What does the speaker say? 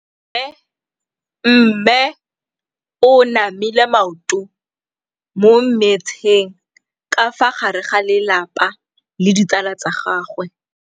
Mme o namile maoto mo mmetseng ka fa gare ga lelapa le ditsala tsa gagwe.